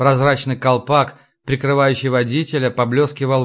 прозрачный колпак прикрывающий водителя поблёскивал